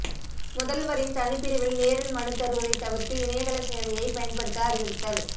முதல்வரின் தனிப்பிரிவில் நேரில் மனு தருவதை தவிர்த்து இணையதள சேவையை பயன்படுத்த அறிவுறுத்தல்